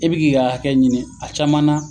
I b'i k'i ka hakɛ ɲini a caman na